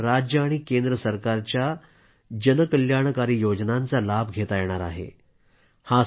या समाजातल्या लोकांना राज्य आणि केंद्र सरकारच्यास जन कल्याणकारी योजनांचा लाभ घेता येणार आहे